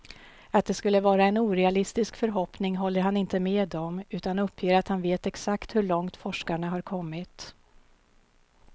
Att det skulle vara en orealistisk förhoppning håller han inte med om, utan uppger att han vet exakt hur långt forskarna har kommit.